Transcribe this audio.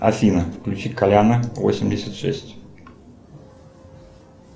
афина включи коляна восемьдесят шесть